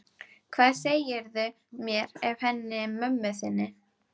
Hvað segirðu mér af henni mömmu þinni?